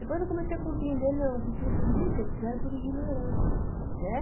Depois eu comecei a compreender, não, que tudo isso eles fizeram por ignorância, né?